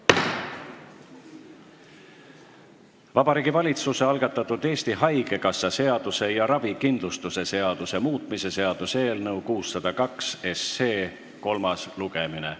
Vabariigi Valitsuse algatatud Eesti Haigekassa seaduse ja ravikindlustuse seaduse muutmise seaduse eelnõu 602 kolmas lugemine.